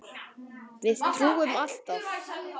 Við trúum alltaf.